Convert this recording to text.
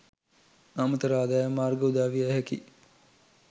අමතර ආදායම් මාර්ග උදාවිය හැකි